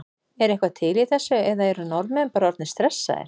Er eitthvað til í þessu eða eru Norðmenn bara orðnir stressaðir?